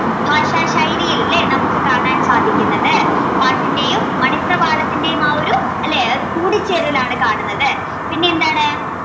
ഭാഷാശൈലിയിൽ ലെ നമുക്ക് കാണാൻ സാധിക്കുന്നത് പാട്ടിന്റെയും മണിപ്രവാളത്തിന്റെയും ആ ഒരു അല്ലെ കൂടിച്ചേരലാണ് കാണുന്നത് പിന്നെന്താണ്